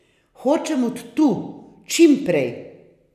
Hočem od tu, čim prej.